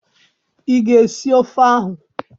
I ga esi ofe ahụ?